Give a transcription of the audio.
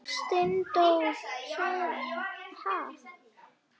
Steindór sagði: Ha?